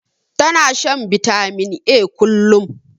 Ta na shan bitamin A kullum